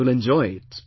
You will enjoy it